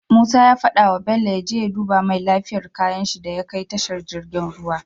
Musa ya fada wa bello yaje ya duba mai lafiyar kayan shi daya kai tashar jirgin ruwa